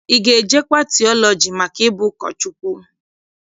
Ị ga-ejekwa tiọlọji maka ịbụ ụkọchukwu?